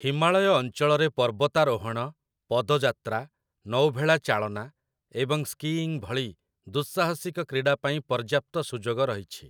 ହିମାଳୟ ଅଞ୍ଚଳରେ ପର୍ବତାରୋହଣ, ପଦଯାତ୍ରା, ନୌଭେଳା ଚାଳନା, ଏବଂ ସ୍କୀଇଂ ଭଳି ଦୁଃସାହସିକ କ୍ରୀଡ଼ା ପାଇଁ ପର୍ଯ୍ୟାପ୍ତ ସୁଯୋଗ ରହିଛି ।